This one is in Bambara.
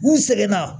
N sɛgɛn na